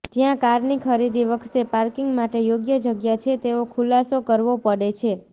જયાં કારની ખરીદી વખતે પાર્કિંગ માટે યોગ્ય જગ્યા છે તેવો ખુલાસો કરવો પડે છે